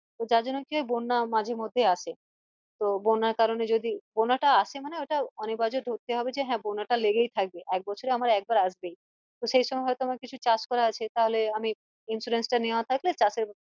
তো যারজন্য কি হয় বন্যা মাঝের মধ্যে আসে তো বন্যার কারণে যদি বন্যা টা আসে মানে ওটা অনিবার্য ধরতে হবে যে হ্যাঁ বন্যা টা লেগেই থাকে এক বছরে আমার একবার আসবেই তো সেইসময় হয়তো আমার কিছু চাষ করা আছে তাহলে আমি insurance টা নেওয়া থাকলে চাষের